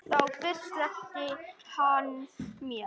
Þá fyrst sleppti hann mér.